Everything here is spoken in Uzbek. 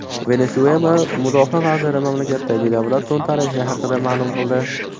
Venesuela mudofaa vaziri mamlakatdagi davlat to‘ntarishi haqida ma’lum qildi.